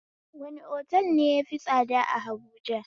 Wani otal ne yafi tsada a habuja?